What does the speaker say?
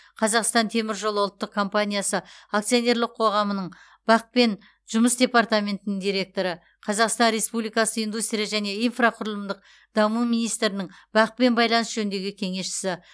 қазақстан темір жолы ұлттық компаниясы акционерлік қоғамының бақ пен жұмыс департаментінің директоры қазақстан республикасы индустрия және инфрақұрылымдық даму министрінің бақ пен байланыс жөніндегі кеңесшісі